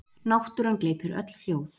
Náttúran gleypir öll hljóð.